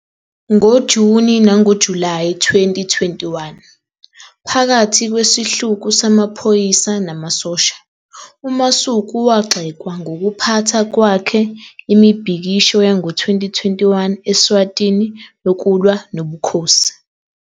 NgoJuni nangoJulayi 2021, phakathi kwesihluku samaphoyisa namasosha, uMasuku wagxekwa ngokuphatha kwakhe Imibhikisho yango-2021 Eswatini yokulwa nobukhosi.